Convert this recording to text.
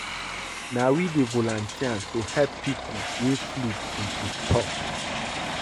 Na we dey volunteer to help pipo wey flood dey disturb.